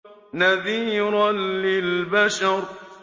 نَذِيرًا لِّلْبَشَرِ